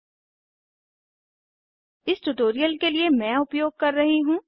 httpspoken tutorialorg इस tutorial के लिए मैं उपयोग कर रही हूँ